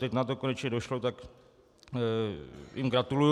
Teď na to konečně došlo, tak jim gratuluji.